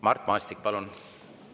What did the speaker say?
Mart Maastik, palun!